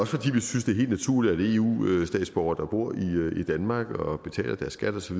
fordi vi synes det er helt naturligt at eu statsborgere der bor i danmark og betaler deres skat osv